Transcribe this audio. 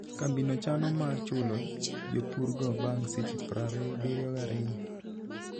Kambiano chano mar chulo jopurgo bang' seche 72.